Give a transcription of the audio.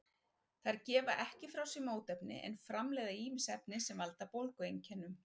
Þær gefa ekki frá sér mótefni en framleiða ýmis efni sem valda bólgueinkennum.